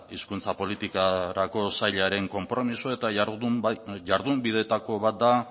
hizkuntza politikarako sailaren konpromisoa eta jardunbideetako bat da